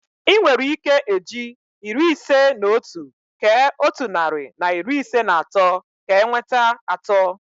Ị nwere ike eji iri ise na otu kee otu narị na iri ise na atọ ka enweta atọ.